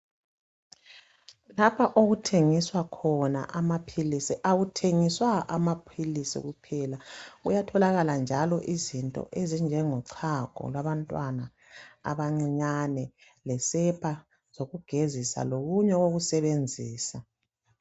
lapha okuthengiswa khona amaphilisi akuthengiswa amaphilisi kuphela kuyatholakala njalo izinto ezinjengochago lwabantwana abancinyane lesepha zokugezisa lokunye okokusebenzisa